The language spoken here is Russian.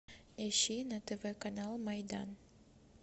ищи на тв канал майдан